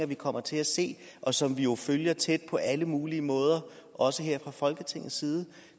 vi kommer til at se og som vi jo følger tæt på alle mulige måder også her fra folketingets side